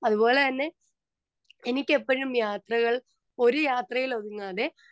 speaker 2 അതുപോലെ തന്നെ എനിക്ക് എപ്പോഴും യാത്രകൾ ഒരു യാത്രയിൽ ഒതുങ്ങാതെ